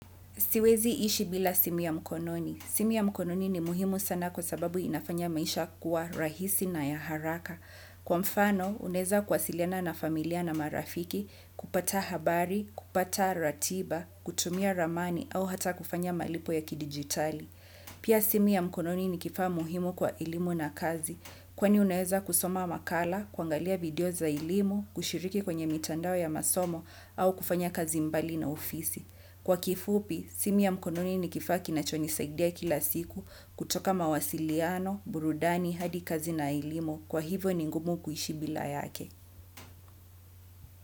Siwezi ishi bila simu ya mkononi. Simu ya mkononi ni muhimu sana kwa sababu inafanya maisha kuwa rahisi na ya haraka. Kwa mfano, uneza kwasiliana na familia na marafiki, kupata habari, kupata ratiba, kutumia ramani au hata kufanya malipo ya kidigitali. Pia simu ya mkononi ni kifaa muhimu kwa elimu na kazi. Kwa ni uneza kusoma makala, kuangalia video za elimu, kushiriki kwenye mitandao ya masomo au kufanya kazi mbali na ofisi. Kwa kifupi, simu ya mkononi ni kifa kinachoni saidia kila siku kutoka mawasiliano, burudani, hadi kazi na elimo kwa hivyo ni ngumu kuishi bila yake.